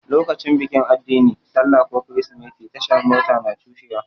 Lokacin bikin addini, sallah ko kirsimeti, tashar Mota na cushewa.